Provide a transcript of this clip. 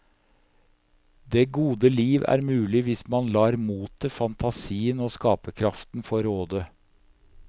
Det gode liv er mulig hvis man lar motet, fantasien og skaperkraften få råde.